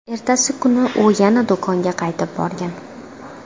Ertasi kuni u yana do‘konga qaytib borgan.